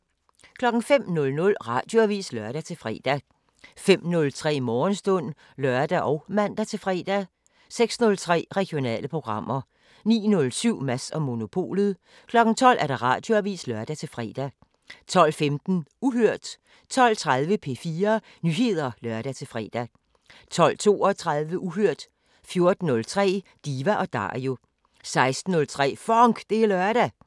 05:00: Radioavisen (lør-fre) 05:03: Morgenstund (lør og man-fre) 06:03: Regionale programmer 09:07: Mads & Monopolet 12:00: Radioavisen (lør-fre) 12:15: Uhørt 12:30: P4 Nyheder (lør-fre) 12:32: Uhørt 14:03: Diva & Dario 16:03: FONK! Det er lørdag